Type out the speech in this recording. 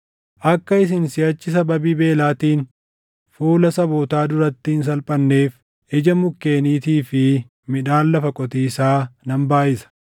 Akka isin siʼachi sababii beelaatiin fuula sabootaa duratti hin salphanneef, ija mukkeeniitii fi midhaan lafa qotiisaa nan baayʼisa.